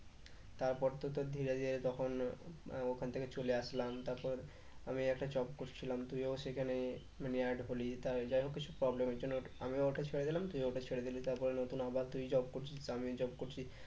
তারপর তো তোর ধীরে ধীরে তখন ওখান থেকে চলে আসলাম তারপর আমি একটা job করছিলাম তুইও সেখানে হলি যাইহোক কিছু problem এর জন্য আমিও ওটা ছেড়ে দিলাম তুইও ওটা ছেড়ে দিলি তারপরে নতুন আবার তুই job করছিস আমিও job করছি